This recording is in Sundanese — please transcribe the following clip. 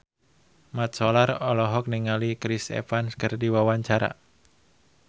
Mat Solar olohok ningali Chris Evans keur diwawancara